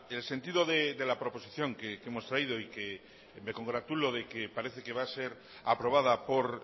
el sentido de la proposición que hemos traído y me congratulo de que parece que va a ser aprobada por